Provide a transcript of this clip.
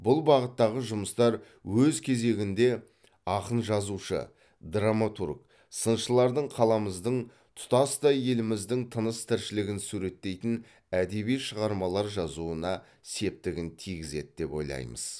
бұл бағыттағы жұмыстар өз кезегінде ақын жазушы драматург сыншылардың қаламыздың тұтастай еліміздің тыныс тіршілігін суреттейтін әдеби шығармалар жазуына септігін тигізеді деп ойлаймыз